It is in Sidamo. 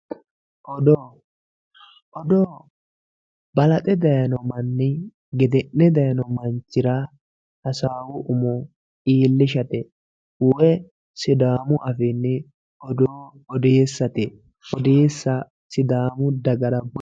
Odoo, odoo balaxxe dayino manni gedene dayino manchira hasawu umo iillishate woyi sidaamu affiini odoo odeesate odeessa sidaamu budira